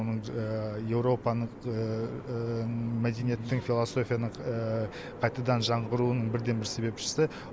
оның еуропаның мәдениеттің философияның қайтадан жаңғыруының бірден бір себепшісі